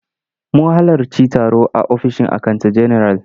Mun halarci taro a ofishin akanta general.